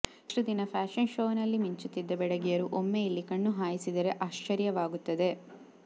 ಇಷ್ಟು ದಿನ ಫ್ಯಾಷನ್ ಶೋನಲ್ಲಿ ಮಿಂಚುತ್ತಿದ್ದ ಬೆಡಗಿಯರು ಒಮ್ಮೆ ಇಲ್ಲಿ ಕಣ್ಣು ಹಾಯಿಸಿದರೆ ಆಶ್ಚರ್ಯವಾಗುತ್ತದೆ